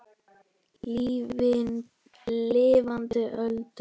Lifandi Öldu.